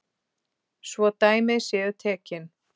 svo dæmi séu tekin.